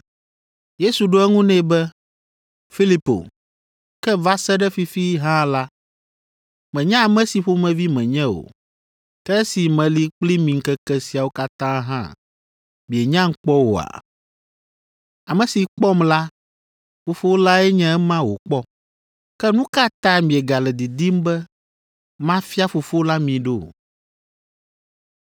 Yesu ɖo eŋu nɛ be, “Filipo, ke va se ɖe fifi hã la, mènya ame si ƒomevi menye o. Ke esi meli kpli mi ŋkeke siawo katã hã mienyam kpɔ oa? Ame si kpɔm la, Fofo lae nye ema wòkpɔ. Ke nu ka ta miegale didim be, ‘Mafia Fofo la mi ɖo?’